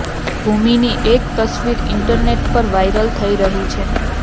ભૂમિની એક તસવીર ઇન્ટરનેટ્ પર વાયરલ થઇ રહી છે